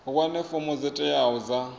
wane fomo dzo teaho dza